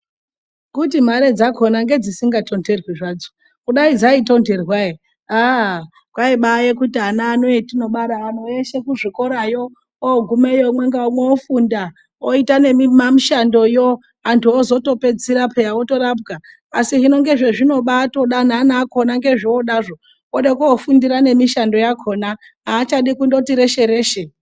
Kuti mare dzakona ngedzidikatonherei zvadzo kudai dzaitonherwa ere aa kwaiya kubati vana vano vatinobara anhu eshe kuzvikorayo ogumeyo umwe ngaumwe ofunda oita nemimamishandoyo antu ozopedzisira orapwa means akona ndozvovoda kukufunda eifundira mushando yakona haikona haachadi kuita reshereshe.